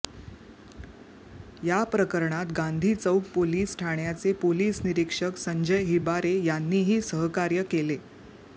या प्रकरणात गांधी चौक पोलीस ठाण्याचे पोलीस निरीक्षक संजय हिबारे यांनीही सहकार्य केले